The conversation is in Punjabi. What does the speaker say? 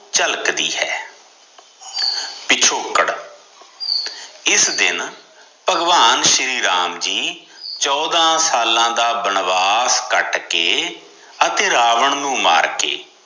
ਝਲਕਦੀ ਹੈ ਪਿਛੋਕੜ ਇਸ ਦਿਨ ਭਗਵਾਨ ਸ਼੍ਰੀ ਰਾਮ ਜੀ ਚੋਦਾ ਸਾਲਾਂ ਦਾ ਬਨਵਾਸ ਕੱਟ ਕੇ ਅਤੇ ਰਾਵਣ ਨੂੰ ਮਾਰ ਕੇ